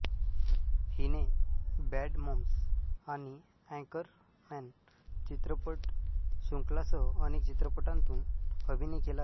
हिने Bad Moms आणि Anchorman चित्रपटशृंखलांसह अनेक चित्रपटांतून अभिनय केला आहे